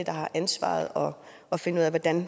har ansvaret og og finde ud af hvordan